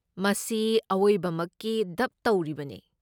ꯃꯁꯤ ꯑꯋꯣꯏꯕꯃꯛꯀꯤ ꯗꯕ ꯇꯧꯔꯤꯕꯅꯦ꯫